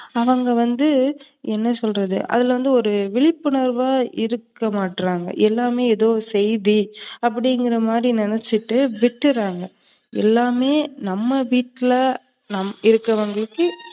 அவங்க வந்து என்ன சொல்றது அதுலவந்து விழிப்புணர்வா இருக்கமாட்றாங்க. எல்லாமே செய்தி அப்டிங்கிறமாதிரி நினைச்சு விற்றுறாங்க. எல்லாமே நம்ம வீட்டுல இருக்குறவங்களுக்கு